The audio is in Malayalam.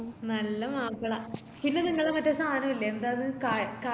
നല്ല മാപ്പള പിന്നെ നിങ്ങളെ മറ്റേ സാനയില്ലെ ന്താ അത് കാ കായ് ക